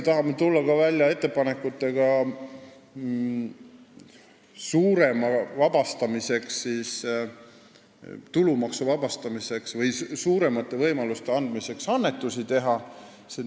Tahame tulla välja ka suurema tulumaksuvabastuse ettepanekutega või anda rohkem võimalusi annetusi teha.